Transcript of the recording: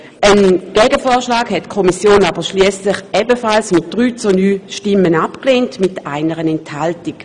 Einen Gegenvorschlag hat die Kommission aber schliesslich ebenfalls mit drei gegen neun Stimmen abgelehnt bei einer Enthaltung.